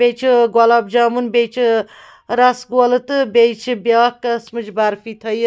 .بیٚیہِ چُھ گۄلاب جامُن بیٚیہِ چھ رسہٕ گولہٕ تہٕ بیٚیہِ چھ بیٛاکھ قٔسمٕچ برفی تھٲیِتھ